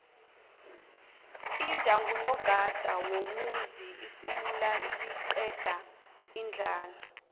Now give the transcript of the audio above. iwja ngunogada womuzi isimu liqeda indlala